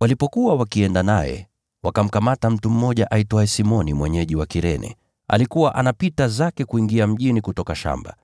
Walipokuwa wakienda naye, wakamkamata mtu mmoja aitwaye Simoni mwenyeji wa Kirene, aliyekuwa anapita zake kuingia mjini kutoka shambani.